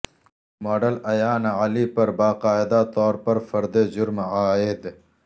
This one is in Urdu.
ماڈل ایان علی پر باقاعدہ طور پر فرد جرم عائد